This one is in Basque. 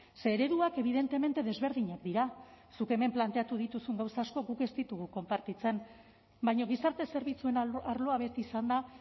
ze ereduak evidentemente desberdinak dira zuk hemen planteatu dituzun gauza asko guk ez ditugu konpartitzen baina gizarte zerbitzuen arloa beti izan da